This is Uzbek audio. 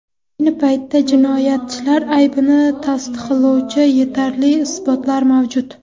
Ayni paytda jinoyatchilar aybini tasdiqlovchi yetarli isbotlar mavjud.